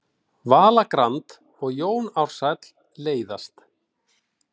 Vala Grand og Jón Ársæll leiðast